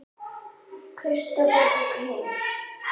Kristófer og kímdi.